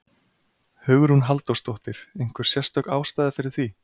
Hugrún Halldórsdóttir: Einhver sérstök ástæða fyrir því?